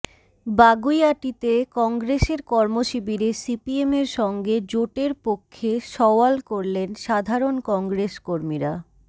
বাগুইআটিতে কংগ্রেসের কর্মশিবিরে সিপিএমের সঙ্গে জোটের পক্ষে সওয়াল করলেন সাধারণ কংগ্রেস কর্মীরা